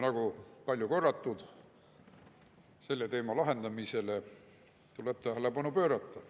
Nagu on palju korratud, selle teema lahendamisele tuleb tähelepanu pöörata.